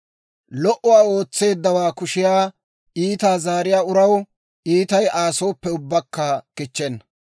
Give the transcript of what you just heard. Lo"uwaa ootseeddawaa kushiyaa iitaa zaariyaa uraw iitay Aa sooppe ubbakka kichchenna.